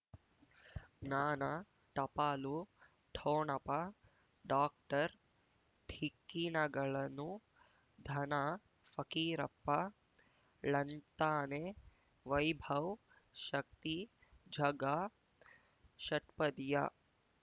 ಜ್ಞಾನ ಟಪಾಲು ಠೊಣಪ ಡಾಕ್ಟರ್ ಢಿಕ್ಕಿ ಣಗಳನು ಧನ ಫಕೀರಪ್ಪ ಳಂತಾನೆ ವೈಭವ್ ಶಕ್ತಿ ಝಗಾ ಷಟ್ಪದಿಯ